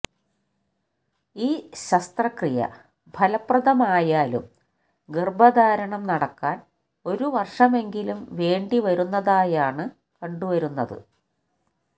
ഈ ശസ്ത്രക്രിയ ഫലപ്രദമായാലും ഗര്ഭധാരണം നടക്കാന് ഒരു വര്ഷമെങ്കിലും വേണ്ടി വരുന്നതായാണ് കണ്ടുവരുന്നത്